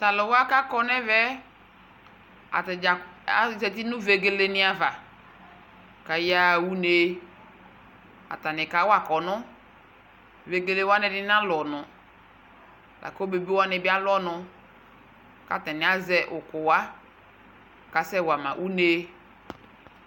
Tu aluwa ku akɔ nu ɛvɛ yɛ atadza aza uti nu vegeleni ava ku ayaɣa une atani kawa kɔnɔ vegelewa ɛdini ana lu ɔnu la ku ebebeniwani bi alu ɔnu Ku atani azɛ ukuwa akasɛwa ma une